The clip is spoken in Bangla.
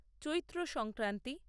চৈত্র সংক্রান্তি